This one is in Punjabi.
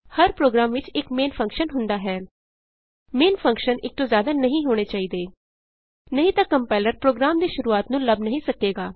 ਹਰ ਪ੍ਰੋਗਰਾਮ ਵਿਚ ਇਕ ਮੇਨ ਫੰਕਸ਼ਨ ਹੁੰਦਾ ਹੈ ਮੇਨ ਫੰਕਸ਼ਨ ਇਕ ਤੋਂ ਜਿਆਦਾ ਨਹੀਂ ਹੋਣੇ ਚਾਹੀਦੇ ਨਹੀਂ ਤਾਂ ਕੰਪਾਇਲਰ ਪ੍ਰੋਗਰਾਮ ਦੀ ਸ਼ੁਰੂਆਤ ਨੂੰ ਲੱਭ ਨਹੀਂ ਸਕੇਗਾ